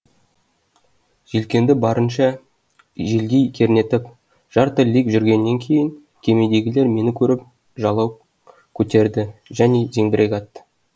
желкенді барынша желге кернетіп жарты лиг жүргеннен кейін кемедегілер мені көріп жалау көтерді және зеңбірек атты